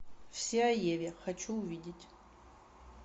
все о еве хочу увидеть